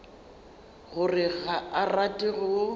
gore ga a rate go